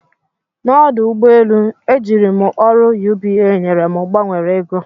N'ọdụ ụgbọ elu, ejiri m ọrụ UBA nyere m gbanwere ego.